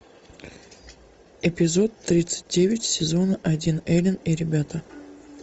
эпизод тридцать девять сезон один элен и ребята